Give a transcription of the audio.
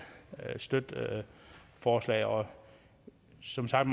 støtte forslaget og som sagt